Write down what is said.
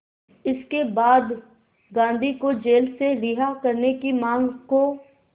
इसके बाद गांधी को जेल से रिहा करने की मांग को